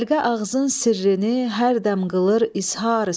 Xəlqə ağzın sirrini hər dəm qılır izhar söz.